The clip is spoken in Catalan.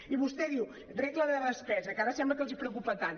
i vostè diu regla de despesa que ara sembla que els preocupa tant